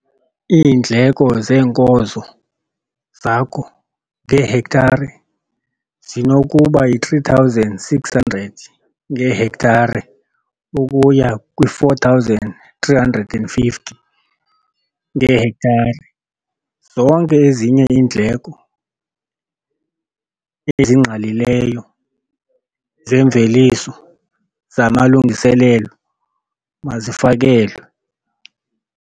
Iindleko zeenkozo zakho ngehektare zinokuba yi-R3 600 ngehektare ukuya kwi-R4 350 ngehektare. Zonke ezinye iindleko ezingqalileyo zeemveliso zamalungiselelo mazifakelwe.